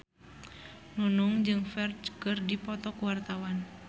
Nunung jeung Ferdge keur dipoto ku wartawan